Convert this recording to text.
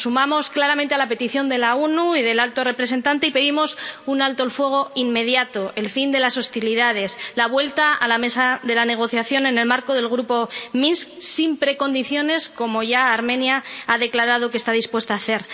Nos sumamos claramente a la petición de la ONU y del alto representante y pedimos un alto el fuego inmediato, el fin de las hostilidades, la vuelta a la mesa de la negociación en el marco del Grupo de Minsk sin precondiciones, como ya Armenia ha declarado que está dispuesta a hacer.